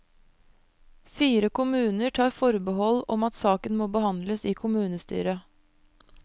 Fire kommuner tar forbehold om at saken må behandles i kommunestyret.